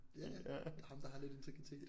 Ja ja ham der har lidt integritet